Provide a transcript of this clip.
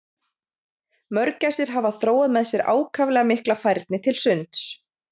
Mörgæsir hafa þróað með sér ákaflega mikla færni til sunds.